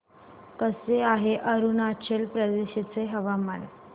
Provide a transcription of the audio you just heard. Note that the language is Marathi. कसे आहे अरुणाचल प्रदेश चे हवामान